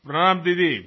প্রণাম দিদি